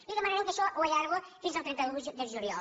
li demanarem que això ho allargui fins al trenta un de juliol